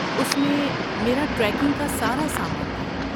اس میں میرا ٹریکنگ کا سارا سامان تھا۔